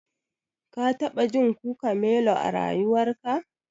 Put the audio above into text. Ka taɓa jin Guacamelo a rayuwarka?